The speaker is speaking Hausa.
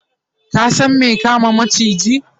ka San me kama maciji?